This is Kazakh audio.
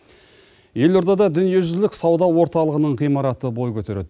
елордада дүниежүзілік сауда орталығының ғимараты бой көтереді